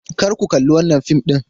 Kar ku kalli wannan fim din!